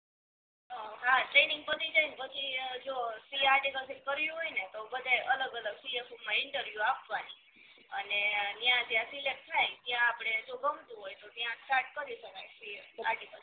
હા ટ્રેનિંગ પતિ જાય ને પછી જો સી એ અરિકલસીપ કરવી હોય ને તો બધાય અલગ અલગ સી એ ટૂંકમા ઇંટરવ્યૂ આપવા પડે. અને ઇયાં જ્યાં સિલેક્ટ થાય ત્યાં આપડે જો ગમતું હોય તો ત્યા સ્ટાર્ટ કરી શકાય સી એ આર્ટીકલ